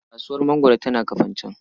Kasuwar mangwaro tana Kafanchan.